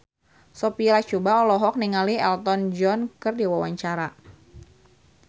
Sophia Latjuba olohok ningali Elton John keur diwawancara